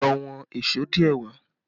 Lọ wọn èṣó díẹ̀ wà!